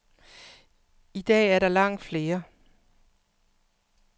I dag er der langt flere.